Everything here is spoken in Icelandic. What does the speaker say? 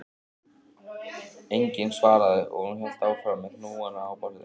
Enginn svaraði og hún hélt áfram með hnúana á borðinu